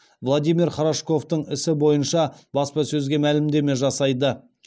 владимир хорошковтың ісі бойынша баспасөзге мәлімдеме жасайды